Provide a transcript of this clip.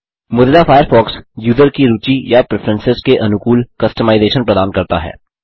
Mozilla Firefox user की रूचि या प्रेफरेंसेस के अनुकूल कस्टमाइजेशन प्रदान करता है